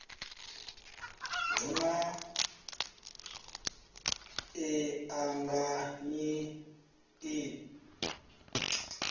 hu na i anganyi ḓi